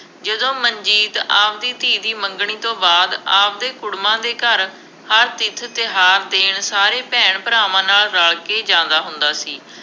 ਜਦੋਂ ਮਨਜੀਤ ਆਪਦੀ ਧੀ ਦੀ ਮੰਗਣੀ ਤੋਂ ਬਾਅਦ ਆਪਦੇ ਕੁੜਮਾਂ ਦੇ ਘਰ ਹਰ ਤੀਰਥ-ਤਿਉਹਾਰ ਦੇਣ ਸਾਰੇ ਭੈਣ-ਭਰਾਵਾਂ ਨਾਲ ਰਲ ਕੇ ਜਾਂਦਾ ਹੁੰਦਾ ਸੀ।